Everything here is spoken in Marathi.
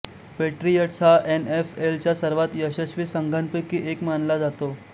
पेट्रियट्स हा एन एफ एल च्या सर्वात यशस्वी संघांपैकी एक मानला जातो